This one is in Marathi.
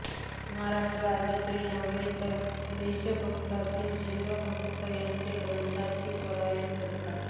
महाराष्ट्रातीलच नव्हे तर देशभरातील शिवभक्त या ग्रंथाची पारायणे करतात